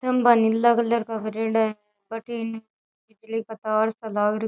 खम्भा नीला कलर का करेडा है बठीने बिजली का तार सा लाग --